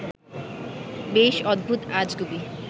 বেশ অদ্ভুত-আজগুবি